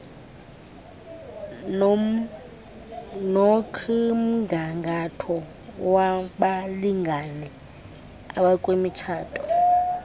nokmgangatho wabalingane abakwimitshato